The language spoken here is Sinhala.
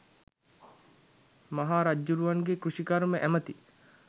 මහා රජ්ජුරුවන්ගේ කෘෂිකර්ම ඇමති